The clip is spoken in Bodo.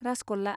रासगल्ला